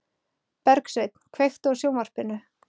Bergsveinn, kveiktu á sjónvarpinu.